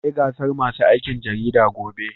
Za a yi gasar masu aikin jarida gobe.